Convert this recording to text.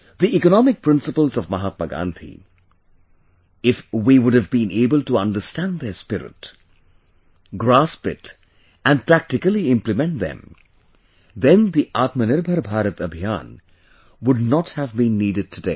The economic principles of Mahatma Gandhi, if we would have been able to understand their spirit, grasp it and practically implement them, then the Aatmanirbhar Bharat Abhiyaan would not have been needed today